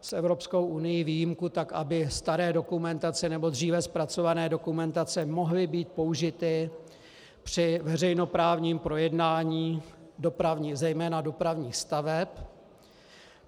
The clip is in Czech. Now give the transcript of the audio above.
s Evropskou unií výjimku tak, aby staré dokumentace, nebo dříve zpracované dokumentace, mohly být použity při veřejnoprávním projednání zejména dopravních staveb.